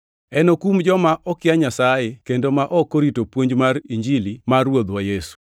Enokum joma okia Nyasaye kendo ma ok orito puonj mar Injili mar Ruodhwa Yesu.